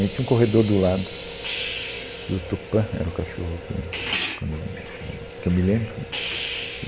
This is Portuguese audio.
a gente tinha um corredor do lado, que o Tupã, era o cachorro que, quando eu, hum, que eu me lembro.